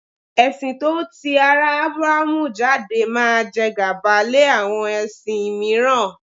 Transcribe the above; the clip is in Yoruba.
Ẹ̀sin tó ti ara Aburahamu jáde máa jẹ gàba lé àwọn ẹ̀sìn mìíràn.